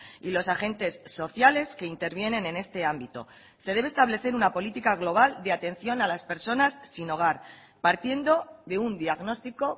y los agentes sociales que intervienen en este ámbito se debe establecer una política global de atención a las personas sin hogar partiendo de un diagnóstico